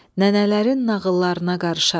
Nənələrin nağıllarına qarışar.